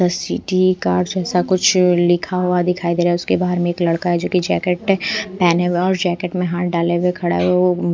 सीटी कार्ड जैसा कुछ लिखा हुआ दिखाई दे रहा है उसके बाहर में एक लड़का है जो कि जैकेट पहने हुए और जैकेट में हाथ डाले हुए खड़ा है।